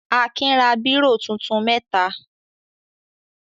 Akin ra bírò tuntun mẹ́ta.